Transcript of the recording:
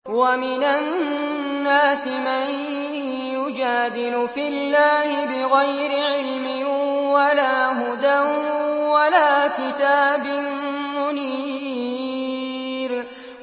وَمِنَ النَّاسِ مَن يُجَادِلُ فِي اللَّهِ بِغَيْرِ عِلْمٍ وَلَا هُدًى وَلَا كِتَابٍ مُّنِيرٍ